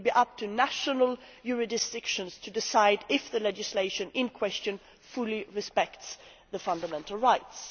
It will be up to national jurisdictions to decide if the legislation in question fully respects the fundamental rights.